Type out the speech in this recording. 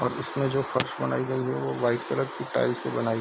और इसमें जो फर्श बनाई गई है वो व्हाइट कलर की टाइल्स से बनाई --